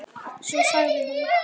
Svo sagði hann.